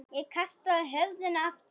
Ég kasta höfðinu aftur.